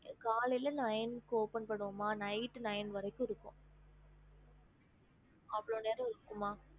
ஹம்